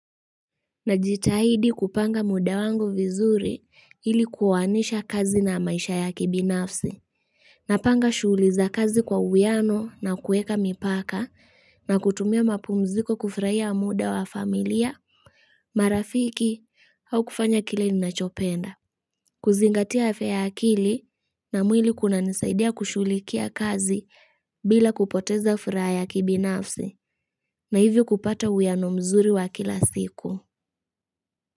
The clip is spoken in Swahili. Najitahidi kupanga muda wangu vizuri hili kuowanisha kazi na maisha ya kibinafsi. Napanga shuhuli za kazi kwa uwiyano na kuweka mipaka na kutumia mapu mziko kufuraia muda wa familia, marafiki au kufanya kile ninachopenda. Kuzingatia afya ya akili na mwili kuna nisaidia kushulikia kazi bila kupoteza furaha ya kibinafsi na hivyo kupata uwiano mzuri wa kila siku.